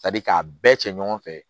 k'a bɛɛ cɛ ɲɔgɔn fɛ